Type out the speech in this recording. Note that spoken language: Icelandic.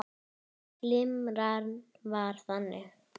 Nú var ráðgerð ný ferð.